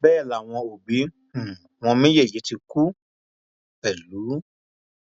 bẹẹ làwọn òbí um wọn méjèèjì ti kú pẹlú